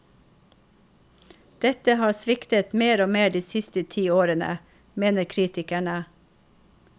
Dette har sviktet mer og mer de siste ti årene, mener kritikerne.